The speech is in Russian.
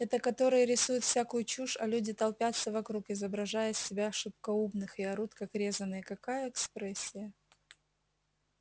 это которые рисуют всякую чушь а люди толпятся вокруг изображая из себя шибко умных и орут как резаные какая экспрессия